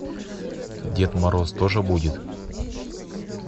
дед мороз тоже будет